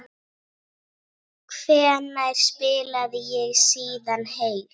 Hvenær spilaði ég síðast heill?